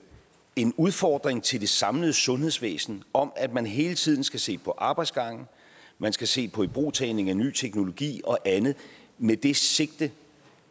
en udfordring til det samlede sundhedsvæsen om at man hele tiden skal se på arbejdsgange man skal se på ibrugtagning af ny teknologi og andet med det sigte